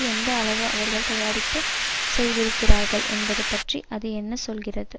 எந்த அளவு அவர்கள் தயாரிப்பு செய்திருக்கிறார்கள் என்பது பற்றி அது என்ன சொல்கிறது